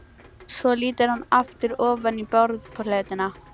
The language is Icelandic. Svo lítur hann aftur ofan í borðplötuna.